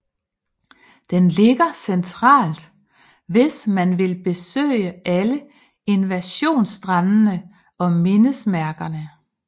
Den ligger centralt hvis man vil besøge alle invasionsstrandene og mindesmærkerne